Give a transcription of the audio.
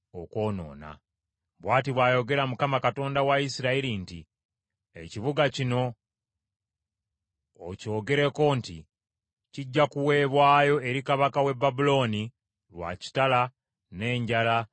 “Bw’ati bw’ayogera Mukama , Katonda wa Isirayiri nti, ‘Ekibuga kino okyogerako nti, Kijja kuweebwayo eri kabaka w’e Babulooni lwa kitala, n’enjala, ne kawumpuli.’